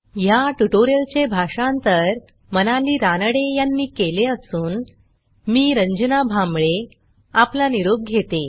ह्या ट्युटोरियलचे भाषांतर मनाली रानडे यांनी केले असून मी रंजना भांबळे आपला निरोप घेते